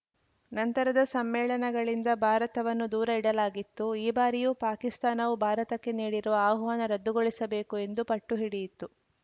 ನಂತರದ ಸಮ್ಮೇಳನಗಳಿಂದ ಭಾರತವನ್ನು ದೂರ ಇಡಲಾಗಿತ್ತು ಈ ಬಾರಿಯೂ ಪಾಕಿಸ್ತಾನವು ಭಾರತಕ್ಕೆ ನೀಡಿರುವ ಆಹ್ವಾನ ರದ್ದುಗೊಳಿಸಬೇಕು ಎಂದು ಪಟ್ಟು ಹಿಡಿಯಿತು